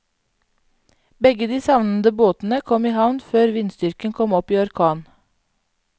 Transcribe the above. Begge de savnede båtene kom i havn før vindstyrken kom opp i orkan.